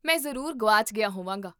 ਮੈਂ ਜ਼ਰੂਰ ਗੁਆਚ ਗਿਆ ਹੋਵਾਂਗਾ